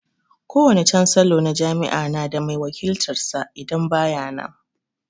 Kowane cansalo na jami'a na da mai wakiltan sa idan ba ya nan